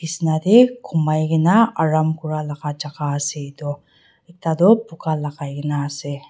Besna dae humaikena aram kura laga jaka ase etu ekta tuh buka lagaikena ase.